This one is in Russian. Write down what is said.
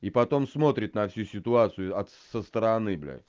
и потом смотрит на всю ситуацию от со стороны блядь